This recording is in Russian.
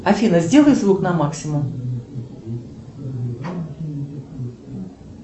афина сделай звук на максимум